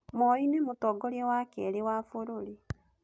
Moi nĩ mũtongoria wa keerĩ wa bũrũri.